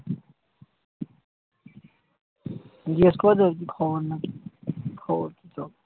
জিজ্ঞেস করেছো কি খবর নাকি? খবর সব?